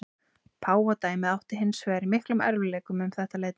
Páfadæmið átti hins vegar í miklum erfiðleikum um þetta leyti.